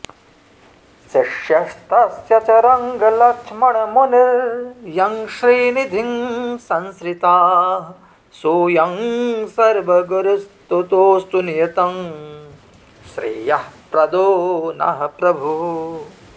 शिष्यस्तस्य च रङ्गलक्ष्मणमुनिर्यं श्रीनिधिं संश्रिताः सोऽयं सर्वगुरुस्तुतोऽस्तु नियतं श्रेयःप्रदो नः प्रभुः